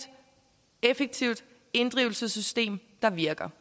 effektivt inddrivelsessystem der virker